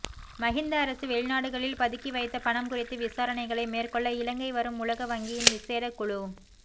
மஹிந்த அரசு வெளிநாடுகளில் பதுக்கி வைத்த பணம் குறித்து விசாரணைகளை மேற்கொள்ள இலங்கை வரும் உலக வங்கியின் விசேட குழு